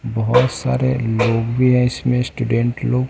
बहोत सारे लोग भी है इसमें स्टूडेंट लोग--